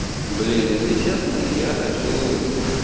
блин если честно я хочу